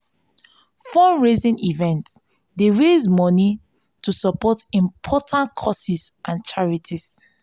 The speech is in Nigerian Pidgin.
fundraising events dey raise moni to support important causes and charities.